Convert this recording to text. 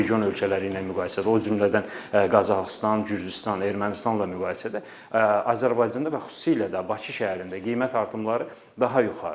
Region ölkələri ilə müqayisədə, o cümlədən Qazaxıstan, Gürcüstan, Ermənistanla müqayisədə Azərbaycanda və xüsusilə də Bakı şəhərində qiymət artımları daha yuxarıdır.